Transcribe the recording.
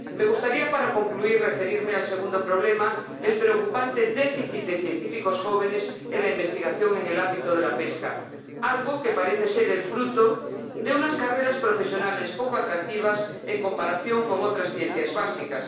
Me gustaría, para concluir, referirme al segundo problema el preocupante déficit de científicos jóvenes en la investigación en el ámbito de la pesca, algo que parece ser el fruto de unas carreras profesionales poco atractivas en comparación con otras ciencias básicas.